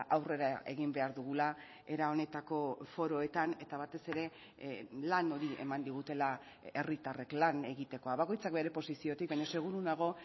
aurrera egin behar dugula era honetako foroetan eta batez ere lan hori eman digutela herritarrek lan egitekoa bakoitzak bere posiziotik baina seguru nago